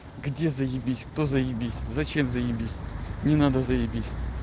где заебись кто заебись зачем заебись не надо заебись